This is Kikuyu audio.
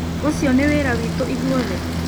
Ũcio nĩ wĩra witũ ithuothe?